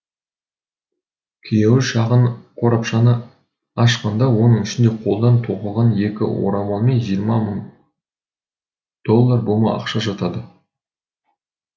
күйеуі шағын қорапшаны ашқанда оның ішінде қолдан тоқылған екі орамал мен жиырма мың доллар бума ақша жатады